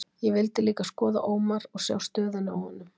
Ég vildi líka skoða Ómar og sjá stöðuna á honum.